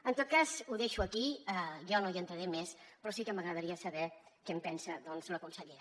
en tot cas ho deixo aquí jo no hi entraré més però sí que m’agradaria saber què en pensa doncs la consellera